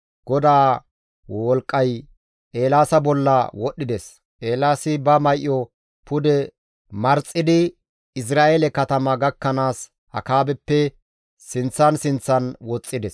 GODAA wolqqay Eelaasa bolla wodhdhides; Eelaasi ba may7o pude marxxidi Izra7eele katama gakkanaas Akaabeppe sinththan sinththan woxxides.